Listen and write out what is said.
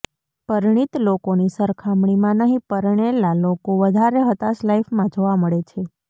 પરીણિત લોકોની સરખામણીમાં નહીં પરણેલા લોકો વધારે હતાશ લાઇફમાં જોવા મળે છે